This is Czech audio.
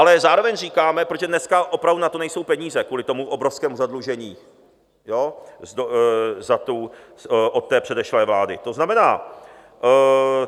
Ale zároveň říkáme, protože dneska opravdu na to nejsou peníze kvůli tomu obrovskému zadlužení od té předešlé vlády, to znamená...